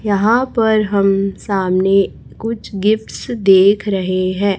यहां पर हम सामने कुछ गिफ्टस देख रहे हैं।